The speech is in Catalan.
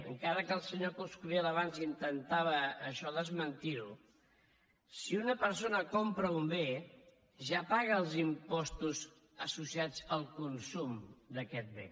encara que el senyor coscubiela abans intentava això desmentirho si una persona compra un bé ja paga els impostos associats al consum d’aquest bé